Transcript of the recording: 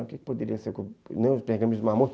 O que poderia ser... Nem os pergaminhos do Mar Morto.